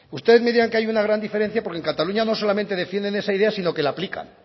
ustedes me dirán que hay una gran diferencia porque en cataluña no solamente defienden esa idea sino que la aplican